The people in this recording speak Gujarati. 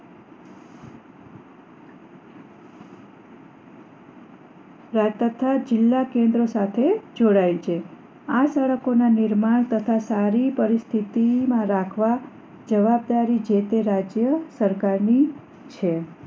તથા જિલ્લા કેન્દ્રિત સાથે જોડાઈ છે આ સડકો ના નિર્માણ તથા સારી પરિસ્થિતિ માં રાખવા જવાબદારી રાખવા જે તે રાજ્યસરકાર ની છે